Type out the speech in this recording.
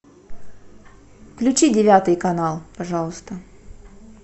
включи девятый канал пожалуйста